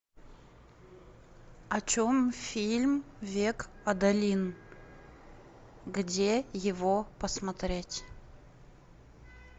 о чем фильм век адалин где его посмотреть